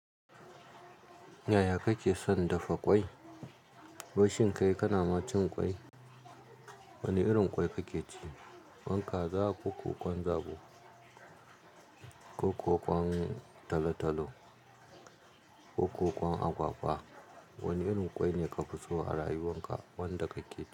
Yaya kake son dafa kwai wai shin kai kana ma cin ƙwai. Wane irin ƙwai kake ci? Kaza, ƙoko ƙwan zabo, ƙokwa ƙwan talo-talo, ko ƙwa ƙwan agwagwa. Wane irin ƙwai ne ka fi so a rayuwar ka, wanda kake ci?